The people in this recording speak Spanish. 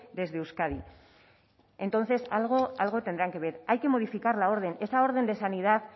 desde euskadi entonces algo tendrán que ver hay que modificar la orden esa orden de sanidad